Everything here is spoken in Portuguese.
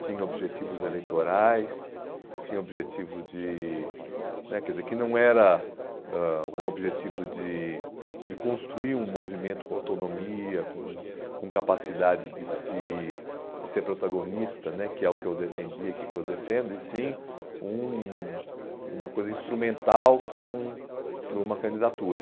Tinha objetivos eleitorais, tinha objetivo de... né, quer dizer, que não era ãh um objetivo de de construir um movimento com autonomia, com com capacidade de se de ser protagonista né, que é o que eu defendia, que é o que eu defendo, e sim um uma coisa instrumental para um para uma candidatura.